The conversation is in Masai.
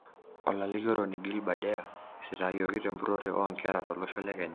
Olalikioroni Gilbert Deya isitayioki tempurore oo nkera tolosho le Kenya.